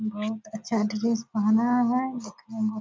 बहोत अच्छा ड्रेस पहना है देखने में --